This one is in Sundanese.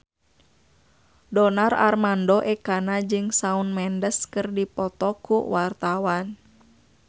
Donar Armando Ekana jeung Shawn Mendes keur dipoto ku wartawan